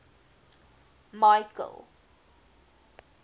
michael